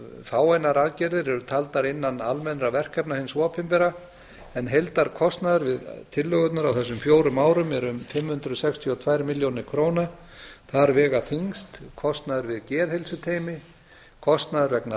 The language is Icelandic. fáeinar aðgerðir eru taldar innan almennra verkefna hins opinbera en heildarkostnaður við tillögurnar á þessum fjórum árum er um fimm hundruð sextíu og tvær milljónir króna þar vega þyngst kostnaður við geðheilsuteymi kostnaður vegna